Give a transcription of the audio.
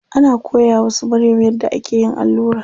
Ana koya wa su Maryam yadda ake yin allura.